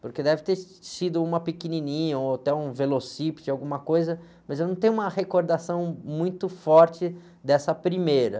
porque deve ter sido uma pequenininha, ou até um velocípede, alguma coisa, mas eu não tenho uma recordação muito forte dessa primeira.